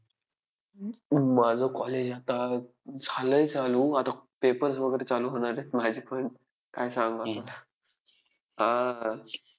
आग्र्याहून महाराजांची सुटका व शाहिस्तेखानाची फजिती असे अनेक प्रसंग त्यांच्या शौर्याह शौर्य पराक्रमाचे महती पटवून देतात.